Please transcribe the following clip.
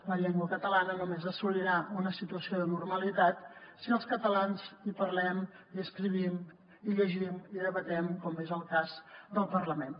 la llengua catalana només assolirà una situació de normalitat si els catalans hi parlem hi escrivim hi llegim hi debatem com és el cas del parlament